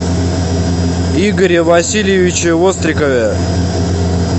игоре васильевиче вострикове